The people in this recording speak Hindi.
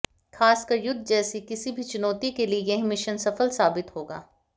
खासकर युद्ध जैसी किसी भी चुनौती के लिए यह मिशन सफल साबित होगा